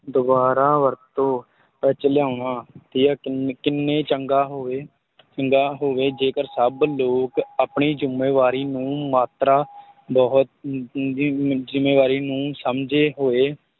ਦੁਬਾਰਾ ਵਰਤੋਂ ਵਿੱਚ ਲਿਆਉਣਾ ਤੇ ਕਿੰਨ~ ਕਿੰਨੇ ਚੰਗਾ ਹੋਵੇ ਚੰਗਾ ਹੋਵੇ, ਜੇਕਰ ਸਭ ਲੋਕ ਆਪਣੀ ਜ਼ਿੰਮੇਵਾਰੀ ਨੂੰ ਮਾਤਰਾ ਬਹੁਤ ਅਮ ਅਮ ਵੀ ਜ਼ਿੰਮੇਵਾਰੀ ਨੂੰ ਸਮਝਦੇ ਹੋਏ